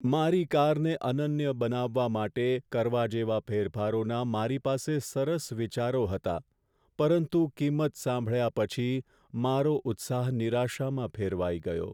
મારી કારને અનન્ય બનાવવા માટે કરવા જેવા ફેરફારોના મારી પાસે સરસ વિચારો હતા, પરંતુ કિંમત સાંભળ્યા પછી, મારો ઉત્સાહ નિરાશામાં ફેરવાઈ ગયો.